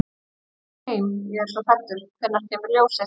Ég vil fara heim. ég er svo hræddur. hvenær kemur ljósið?